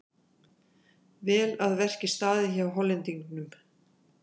Vel að verki staðið hjá Hollendingnum.